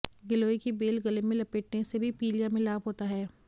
गिलोय की बेल गले में लपेटने से भी पीलिया में लाभ होता है